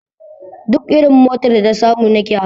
Duk irin motar da ta samu nike hawa